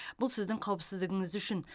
бұл сіздің қауіпсіздігіңіз үшін